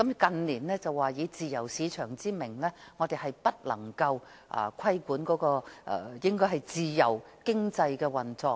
近年政府更以自由市場為由，認為不得規管自由經濟的運作。